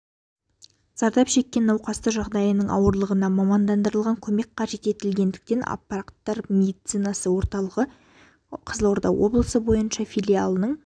зардап шеккен науқасты жағдайларының ауырлығына мамандандырылған көмек қажет етілгендіктен апаттар медицинасы орталығы қызылорда облысы бойынша филиалының